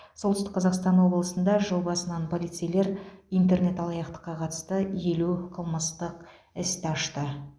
солтүстік қазақстан облысында жыл басынан полицейлер интернет алаяқтыққа қатысты елу қылмыстық істі ашты